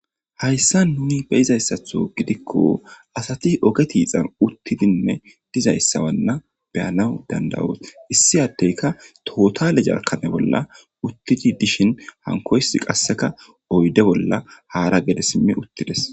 Hayssa nuni be'iza issatho gidikko ,asati oge tiixan uttidinne diza issawanna be'anaw dandayoos. Issi addayka tootale jarkkane bolla uttidi dishin hankoy qassika oydde bolla haara gede simmi uttides.